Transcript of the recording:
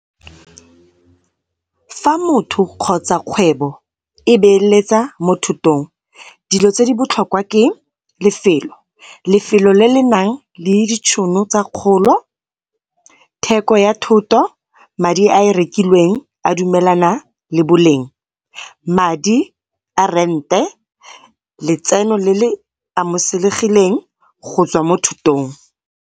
Fa motho kgotsa kgwebo e beeletsa mo thotong dilo tse di botlhokwa ke lefelo, lefelo le le nang le ditshono tsa kgolo, theko ya thoto, madi a e rekileng a dumelana le boleng, madi a rente, letseno le le amogelesegileng gotswa mo thotong.